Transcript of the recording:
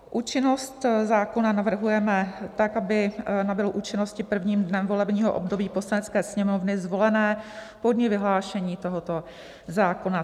Účinnost zákona navrhujeme tak, aby nabyl účinnosti prvním dnem volebního období Poslanecké sněmovny zvolené po dni vyhlášení tohoto zákona.